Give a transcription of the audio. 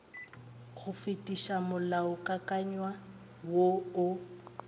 go fetiša molaokakanywa wo o